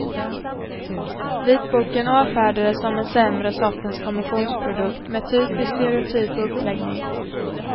Vitboken avfärdades som en sämre sortens kommissionsprodukt med typiskt stereotyp uppläggning.